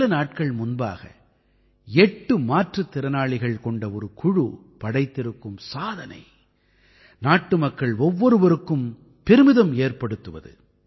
சில நாட்கள் முன்பாக 8 மாற்றுத்திறனாளிகள் கொண்ட ஒரு குழு படைத்திருக்கும் சாதனை நாட்டுமக்கள் ஒவ்வொருவருக்கும் பெருமிதம் ஏற்படுத்துவது